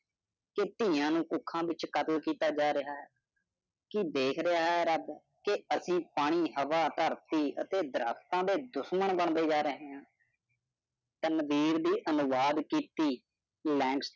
ਕੇ ਤਿਆਂ ਨੂੰ ਭੁੱਖਾ ਵਿਚ ਕਤਲ ਕੀਤਾ ਜਾ ਰਿਹਾ ਹੈ। ਕਿ ਦੇਖ ਰਿਹਾ ਹੈ ਰਬ ਕਿ ਐਸੀ ਪਾਣੀ, ਹਵਾ, ਧਰਤੀ ਅਤੇ ਦਰੱਖਤਾਂ ਦੇ ਦੁਸ਼ਮਣ ਬੰਦੇ ਜਾ ਰਹੇ ਹੈ। ਤੇ ਮੰਦਿਰ ਦੀ ਅਨੁਵਾਦ ਕੀਤੀ।